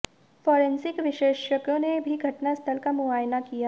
forensic विशेषज्ञों ने भी घटनास्थल का मुआयना किया